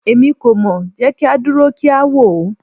Emi ko mọ, jẹ ki a duro ki a wo